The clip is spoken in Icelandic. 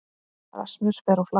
Rasmus fer á flakk